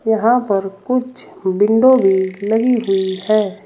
यहां पर कुछ विंडो भी लगी हुई है।